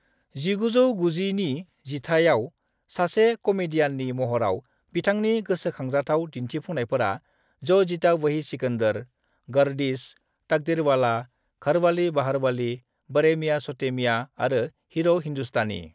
1990 नि जिथायाव सासे कमेदियाननि महराव बिथांनि गोसोखांजाथाव दिन्थिफुंनायफोरा जो जीता वही सिकंदर, गर्दिश, तकदीरवाला, घरवाली बहारवाली, बड़े मियां छोटे मियां और हीरो हिंदुस्तानी ।